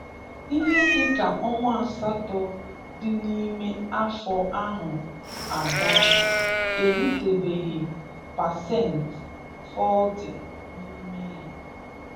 Ihe dịka ọnwa asatọ dị n'ime afọ ahụ aga, eritebeghị pasent 40 n'ime ya.